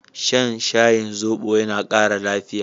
Shan shayin zobo yana ƙara lafiya.